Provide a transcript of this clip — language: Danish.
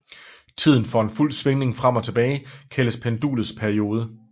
Tiden for en fuld svingning frem og tilbage kaldes pendulets periode